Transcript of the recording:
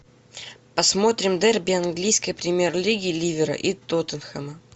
посмотрим дерби английской премьер лиги ливера и тоттенхэма